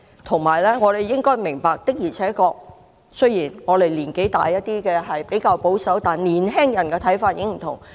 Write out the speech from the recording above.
我們亦應該明白，雖然年紀稍大的人比較保守，但年輕人的看法已經不同。